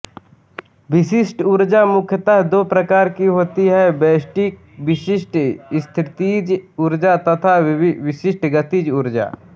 विशिष्ट ऊर्जा मुख्यतः दो प्रकार की होती है विशिष्ट स्थितिज ऊर्जा तथा विशिष्ट गतिज ऊर्जा